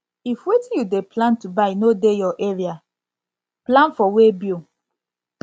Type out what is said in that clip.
if wetin you dey plan to buy no dey your area dey your area plan for weighbill